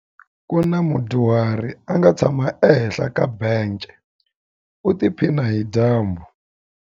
Ku na mudyuhari a nga tshama ehenhla ka bence u tiphina hi dyambu.